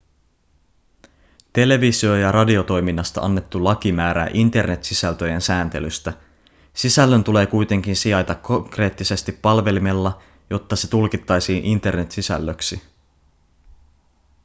televisio- ja radiotoiminnasta annettu laki määrää internet-sisältöjen sääntelystä sisällön tulee kuitenkin sijaita konkreettisesti palvelimella jotta se tulkittaisiin internet-sisällöksi